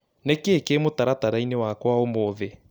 Nĩ kĩĩ kĩĩ mũtaratara-inĩ wakwa ũmũthĩ.?